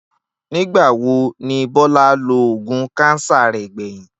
Nígbà wo ni Bó̩lá lo oògùn káńsà rè̩ gbè̩yìn?